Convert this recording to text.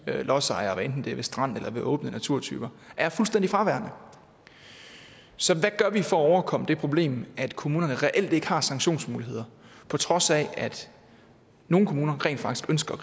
lodsejer hvad enten det er ved stranden eller åbne naturtyper er fuldstændig fraværende så hvad gør vi for at overkomme det problem at kommunerne reelt ikke har sanktionsmuligheder på trods af at nogle kommuner rent faktisk ønsker